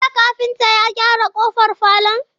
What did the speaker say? Jiya kafinta ya gyara kofar falon?